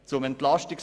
Zum EP